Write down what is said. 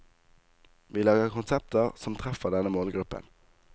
Vi lager konsepter som treffer denne målgruppen.